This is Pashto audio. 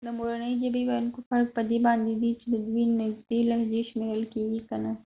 د مورنی ژبی ويونکو فرق په دي باندي دي چې ددوي نږدې لهچې شمیرل کېږی که نه